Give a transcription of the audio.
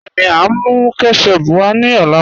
Bẹẹni, à n mú kẹ́tẹ̀chùp wá ní ọlá